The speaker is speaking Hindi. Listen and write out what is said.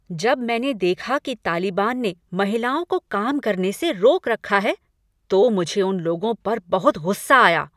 जब मैंने देखा कि तालिबान ने महिलाओं को काम करने से रोक रखा है, तो मुझे उन लोगों पर बहुत गुस्सा आया।